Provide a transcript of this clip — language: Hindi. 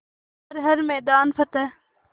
कर हर मैदान फ़तेह